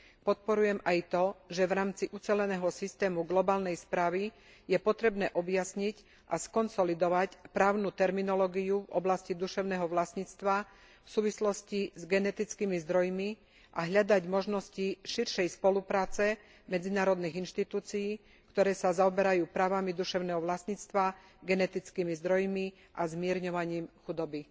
Podporujem aj to, že v rámci uceleného systému globálnej správy je potrebné objasniť a skonsolidovať právnu terminológiu v oblasti duševného vlastníctva v súvislosti s genetickými zdrojmi a hľadať možnosti širšej spolupráce medzinárodných inštitúcií, ktoré sa zaoberajú právami duševného vlastníctva, genetickými zdrojmi a zmierňovaním chudoby.